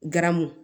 Garamu